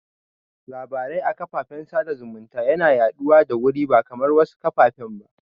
Labarai a karfafan sada zumunta yana yaɗuwa da wuri ba kamar wasu kafafen ba